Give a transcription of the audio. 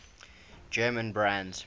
german brands